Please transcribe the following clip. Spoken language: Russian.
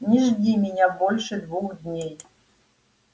не жди меня больше двух дней